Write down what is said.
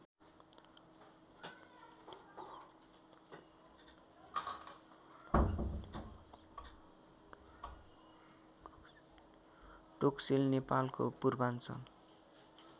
टोक्सेल नेपालको पूर्वाञ्चल